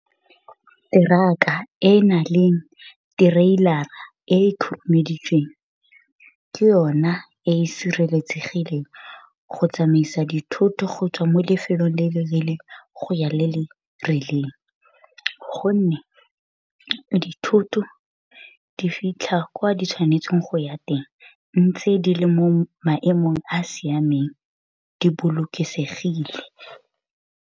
Truck-a e na leng trailer-a e e khurumeditsweng ke yona e e sireletsegileng go tsamaisa dithoto go tswa mo lefelong le le rileng go ya le le rileng, gonne dithoto di fitlha kwa di tshwanetseng go ya teng ntse di le mo maemong a a siameng di bolokesegile.